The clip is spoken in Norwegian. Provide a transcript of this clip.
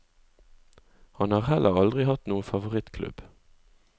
Han har heller aldri hatt noe favorittklubb.